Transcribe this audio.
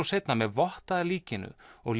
seinna með votta að líkinu og